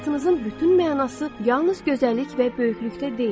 Həyatınızın bütün mənası yalnız gözəllik və böyüklükdə deyil.